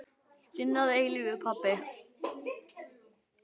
Þinn að eilífu, pabbi.